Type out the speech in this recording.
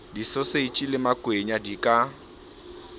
disoseji le makwenya di ka